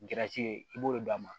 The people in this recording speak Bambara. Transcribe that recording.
i b'o de d'a ma